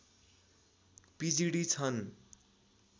पिजिडि छन्